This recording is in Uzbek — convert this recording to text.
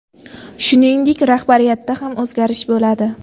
Shuningdek, rahbariyatda ham o‘zgarish bo‘ladi.